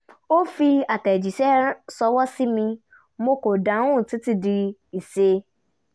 ó fi àtẹ̀jíṣẹ́ ṣọwọ́ sí mi mo kò dáhùn títí di iṣẹ́